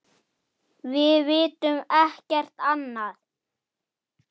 Ertu þarna Lilla? spurði Bella.